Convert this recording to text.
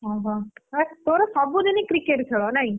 ଓହୋ ତୋର ସବୁଦିନ cricket ଖେଳ ନାଇ।